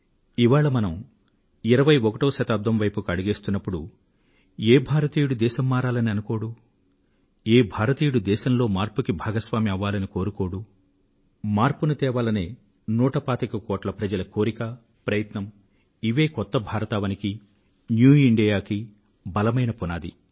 ఇవాళ మనం ఇరవైఒకటవ శతాబ్దం వైపునకు అడుగులు వేస్తున్నప్పుడు ఏ భారతీయుడు దేశం మారాలని అనుకోడు ఏ భారతీయుడు దేశంలో మార్పునకు భాగస్వామి అవ్వాలని కోరుకోడు మార్పును తేవాలనే నూట పాతిక కోట్ల మంది ప్రజల కోరిక ప్రయత్నం ఇవే కొత్త భారతావనికి ఇండియాకు బలమైన పునాది